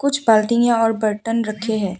कुछ बाल्टियां और बर्तन रखे हैं।